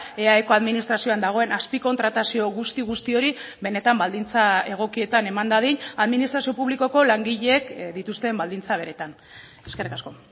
eaeko administrazioan dagoen azpikontratazio guzti guzti hori benetan baldintza egokietan eman dadin administrazio publikoko langileek dituzten baldintza beretan eskerrik asko